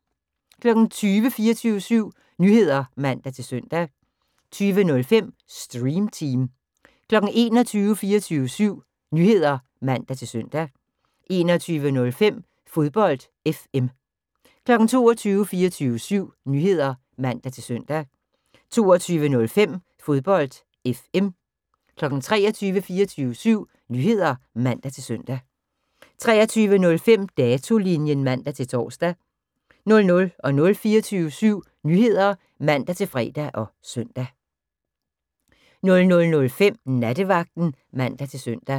20:00: 24syv Nyheder (man-søn) 20:05: Stream Team 21:00: 24syv Nyheder (man-søn) 21:05: Fodbold FM 22:00: 24syv Nyheder (man-søn) 22:05: Fodbold FM 23:00: 24syv Nyheder (man-søn) 23:05: Datolinjen (man-tor) 00:00: 24syv Nyheder (man-fre og søn) 00:05: Nattevagten (man-søn)